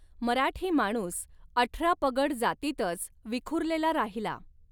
मराठी माणूस अठरापगड जातीतच विखुरलेला राहिला.